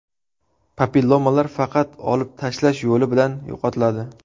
Papillomalar faqat olib tashlash yo‘li bilan yo‘qotiladi.